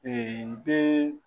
Ɛɛ den